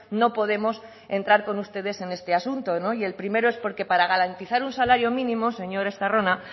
no podemos entrar con ustedes en este asunto y el primero es porque para garantizar un salario mínimo señor estarrona